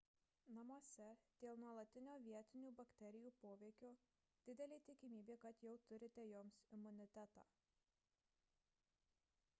namuose dėl nuolatinio vietinių bakterijų poveikio didelė tikimybė kad jau turite joms imunitetą